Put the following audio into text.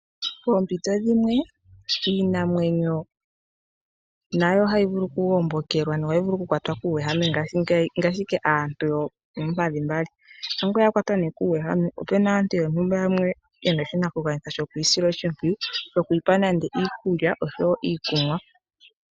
Poompito dhimwe iinamwenyo nayo ohayi vulu okugombokelwa no ohayi vulu okukwatwa kuuhehame ngaashi ike aantu yoompadhi mbali. Ngele ne yakwatwa kuuhehame opena aantu mboka hayeyi sile oshimpwiyu tayi pewa okunwa nenge iikulya.